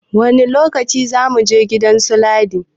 Wani lokaci za muje gidan su Ladi?